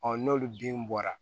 n'olu bin bɔra